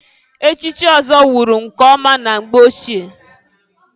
Echichi ọzọ wụrụ nke ọma na mgbe ochie.